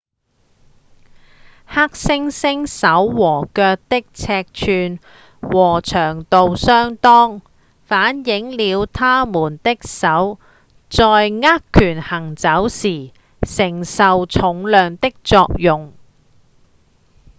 黑猩猩手和腳的尺寸與長度相當反映了牠們的手在握拳行走時承受重量的作用